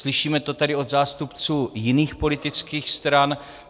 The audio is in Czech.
Slyšíme to tady od zástupců jiných politických stran.